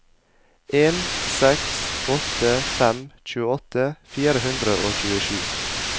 en seks åtte fem tjueåtte fire hundre og tjuesju